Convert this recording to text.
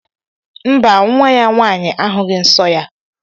Mba, nwa ya nwaanyị ahughi nsọ ya.